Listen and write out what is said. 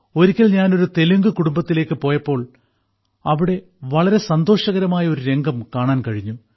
ഒരിക്കൽ ഞാൻ ഒരു തെലുങ്ക് കുടുംബത്തിലേക്ക് പോയപ്പോൾ അവിടെ വളരെ സന്തോഷകരമായ ഒരു രംഗം കാണാൻ കഴിഞ്ഞു